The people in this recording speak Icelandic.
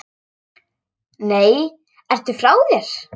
Nei, ertu frá þér!